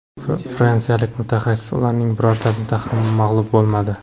Fransiyalik mutaxassis ularning birortasida ham mag‘lub bo‘lmadi.